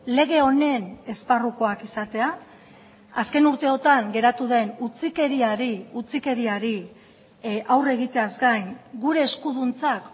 lege honen esparrukoak izatea azken urteotan geratu den utzikeriari utzikeriari aurre egiteaz gain gure eskuduntzak